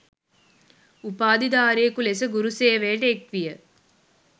උපාධිධාරියකු ලෙස ගුරුසේවයට එක්විය